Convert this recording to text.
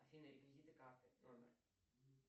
афина реквизиты карты номер